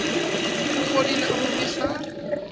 o fodile a mo nwesa